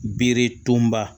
Bere tonba